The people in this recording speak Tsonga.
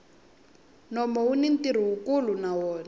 nomu wuni ntirho wukulu na wona